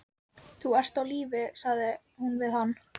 Vítamín eru greind í fituleysanleg og vatnsleysanleg vítamín.